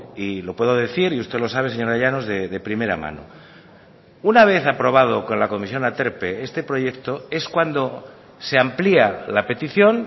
y lo puedo decir y usted lo sabe señora llanos de primera mano una vez aprobado con la comisión aterpe este proyecto es cuando se amplía la petición